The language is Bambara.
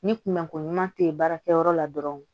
Ni kunbɛnko ɲuman tɛ baara kɛyɔrɔ la dɔrɔn